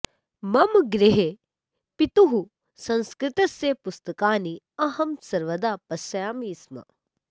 मम गृहे पितुः संस्कृतस्य पुस्तकानि अहं सर्वदा पश्यामि स्म